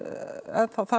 það